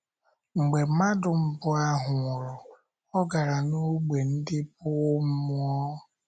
Mgbe mmadụ mbụ ahụ nwụrụ, ọ̀ gara n’ógbè ndị bụ́ mmụọ?